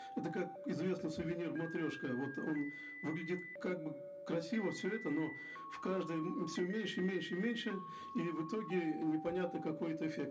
это как известный сувенир матрешка вот он выглядит как бы красиво все это но в каждой все меньше меньше меньше и в итоге непонятно какой это эффект